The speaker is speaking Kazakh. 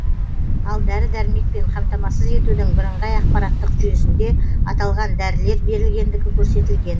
ал дәрі дәрмекпен қамтамасыз етудің бірыңғай ақпараттық жүйесінде аталған дәрілер берілгендігі көрсетілген